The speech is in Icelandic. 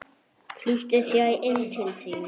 Flýtti sér inn til sín.